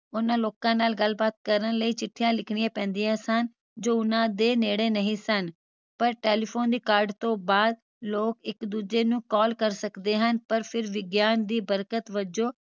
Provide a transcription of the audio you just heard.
ਉਹਨਾਂ ਲੋਕਾਂ ਨਾਲ ਗੱਲਬਾਤ ਕਰਨ ਲਈ ਚਿੱਠੀਆਂ ਲਿਖਿਣਿਆਂ ਪੈਂਦੀਆਂ ਸਨ ਜੋ ਉਹਨਾਂ ਦੇ ਨੇੜੇ ਨਹੀਂ ਸਨ ਪਰ telephone ਦੀ ਕਾਢ ਤੋਂ ਬਾਅਦ ਲੋਕ ਇਕ ਦੂਜੇ ਨੂੰ call ਕਰ ਸਕਦੇ ਹਨ ਪਰ ਫਿਰ ਵਿਗਿਆਨ ਦੀ ਬਰਕਤ ਵਜੋਂ